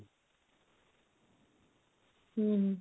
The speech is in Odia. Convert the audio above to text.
ହୁଁ